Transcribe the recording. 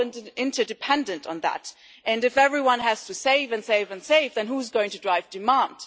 We are all interdependent on that, and if everyone has to save and save and save, then who's going to drive demand?